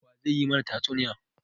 Wa zai yi mana tatsuniya?